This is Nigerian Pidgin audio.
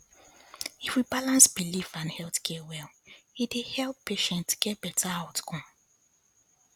if we balance belief and health care well e dey help patient get better outcome